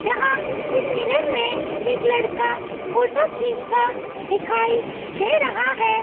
जहां एक मिरर में एक लड़का फोटो खींचता दिखाई दे रहा है।